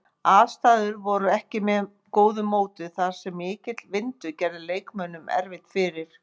Aðstæður voru ekki með góðu móti þar sem mikill vindur gerði leikmönnum erfitt fyrir.